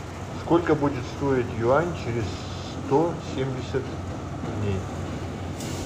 сколько будет стоить юань через сто семьдесят дней